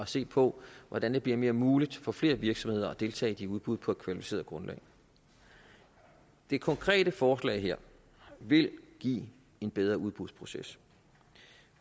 set på hvordan det bliver mere muligt for flere virksomheder at deltage i de udbud på et kvalificeret grundlag det konkrete forslag her vil give en bedre udbudsproces